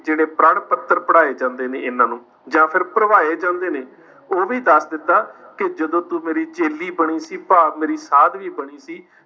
ਜਿਹੜੇ ਪ੍ਰਣ ਪੱਤਰ ਪੜ੍ਹਾਏ ਜਾਂਦੇ ਨੇ ਇੰਨਾ ਨੂੰ, ਜਾਂ ਫਿਰ ਭਰਵਾਏ ਜਾਂਦੇ ਨੇ ਉਹ ਵੀ ਦੱਸ ਦਿੱਤਾ ਕਿ ਜਦੋਂ ਤੂੰ ਮੇਰੀ ਚੇਲੀ ਬਣੀ ਸੀ ਭਾਵ ਮੇਰੀ ਸਾਧਵੀ ਬਣੀ ਸੀ